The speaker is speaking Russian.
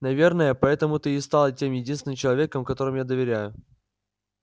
наверное поэтому ты и стал тем единственным человеком которому я доверяю